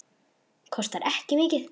Kostar ekki mikið.